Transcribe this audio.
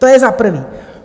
To je za prvé.